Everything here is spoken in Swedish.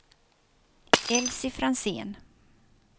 Elsy Franzén